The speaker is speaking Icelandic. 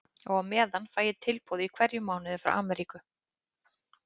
Og á meðan fæ ég tilboð í hverjum mánuði frá Amríku.